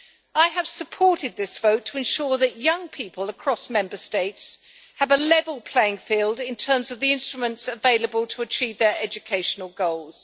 I have supported this vote to ensure that young people across Member States have a level playing field in terms of the instruments available to achieve their educational goals.